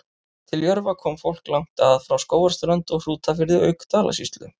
Til Jörfa kom fólk langt að, frá Skógarströnd og Hrútafirði auk Dalasýslu.